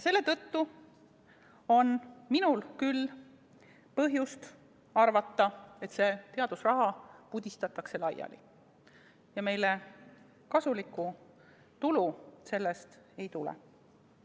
Selle tõttu on minul küll põhjust arvata, et see teadusraha pudistatakse laiali ja meile sellest tulu ei tule.